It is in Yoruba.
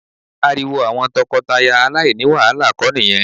Ariwo àwọn tọkọtaya aláìní wàhálà kọ ni ìyẹn